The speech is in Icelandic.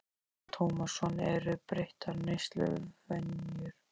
Telma Tómasson: Eru breyttar neysluvenjur?